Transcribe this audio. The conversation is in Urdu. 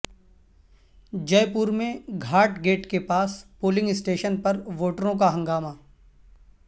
جے پور میں گھاٹ گیٹ کے پاس پولنگ اسٹیشن پر ووٹروں کا ہنگامہ